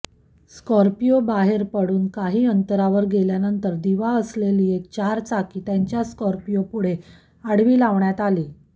Scorpio बाहेर पडून काही अंतरावर गेल्यानंतर दिवा असलेली एक चारचाकी त्यांच्या स्कॉर्पिओपुढे आडवी लावण्यात आली